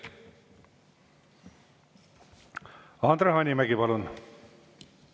Andre Hanimägi, palun!